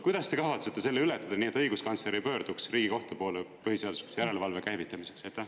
Kuidas te kavatsete selle ületada nii, et õiguskantsleri pöörduks Riigikohtu põhiseaduslikkuse järelevalve käivitamiseks?